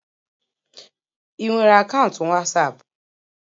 Ị nwere akaụntụ wasapu